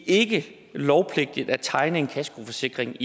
ikke lovpligtigt at tegne en kaskoforsikring